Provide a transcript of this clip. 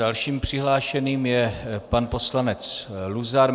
Dalším přihlášeným je pan poslanec Luzar.